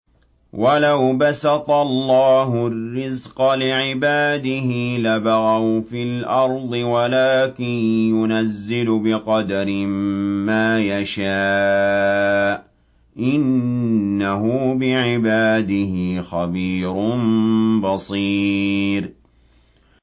۞ وَلَوْ بَسَطَ اللَّهُ الرِّزْقَ لِعِبَادِهِ لَبَغَوْا فِي الْأَرْضِ وَلَٰكِن يُنَزِّلُ بِقَدَرٍ مَّا يَشَاءُ ۚ إِنَّهُ بِعِبَادِهِ خَبِيرٌ بَصِيرٌ